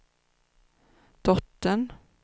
dottern